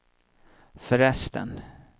förresten